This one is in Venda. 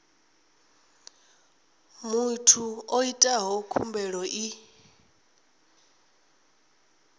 muthu o itaho khumbelo i